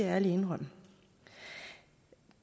ærlig indrømme